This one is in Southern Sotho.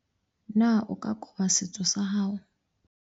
na o ka koba setswe sa hao?